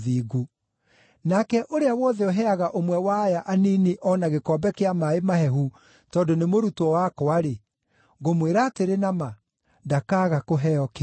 Nake ũrĩa wothe ũheaga ũmwe wa aya anini o na gĩkombe kĩa maaĩ mahehu tondũ nĩ mũrutwo wakwa-rĩ, ngũmwĩra atĩrĩ na ma, ndakaaga kũheo kĩheo gĩake.”